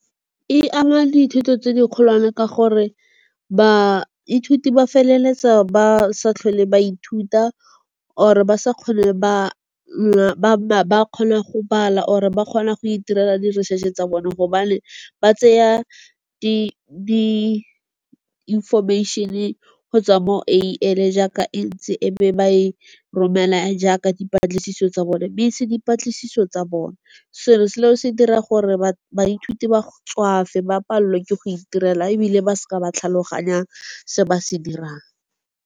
E ama dithuto tse di kgolwane ka gore, baithuti ba feleletsa ba sa tlhole ba ithuta or-e ba sa ba kgone go bala or-e ba kgone go itirela di-research-e tsa bone gobane ba tseya di information-e gotswa mo jaaka e ntse e be ba e romela jaaka dipatlisiso tsa bone. Itse dipatlisiso tsa bone selo selo se dira gore baithuti ba tswafe ba palelwe ke go itirela ebile ba seka ba tlhaloganya se ba se dirang.